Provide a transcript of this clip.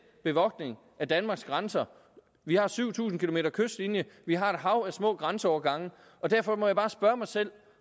bevogtning af danmarks grænser vi har syv tusind km kystlinje vi har et hav af små grænseovergange og derfor må jeg bare spørge mig selv